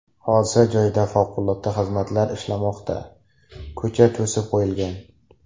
Hodisa joyida favqulodda xizmatlar ishlamoqda, ko‘cha to‘sib qo‘yilgan.